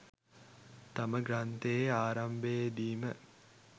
තම ග්‍රන්ථයේ ආරම්භයේ දීම